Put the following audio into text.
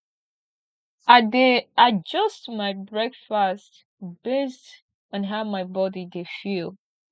i dey adjust my breakfast based on how my body dey feel